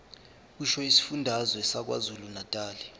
kusho isifundazwe sakwazulunatali